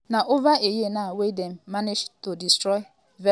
“na over a year now wey dem manage to destroy evritin.”